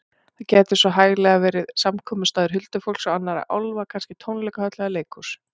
Þar gæti svo hæglega verið samkomustaður huldufólks og annarra álfa, kannski tónleikahöll eða leikhús.